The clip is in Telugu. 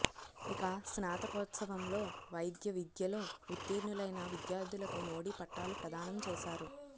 ఇక స్నాతకోత్సవంలో వైద్య విద్యలో ఉత్తీర్ణులైన విద్యార్ధులకు మోడీ పట్టాలు ప్రదానం చేశారు